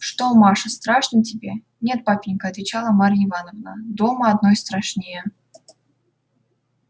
что маша страшно тебе нет папенька отвечала марья ивановна дома одной страшнее